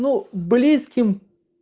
но близким